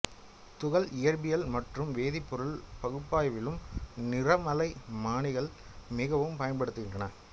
துகள் இயற்பியல் மற்றும் வேதிப் பொருள் பகுப்பாய்விலும் நிறமாலை மானிகள் மிகவும் பயன்படுகின்றன